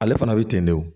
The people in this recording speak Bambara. Ale fana bɛ ten de wo